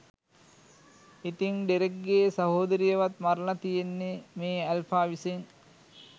ඉතින් ඩෙරෙක්ගේ සහෝදරියවත් මරළා තියෙන්නේ මේ ඇල්ෆා විසින්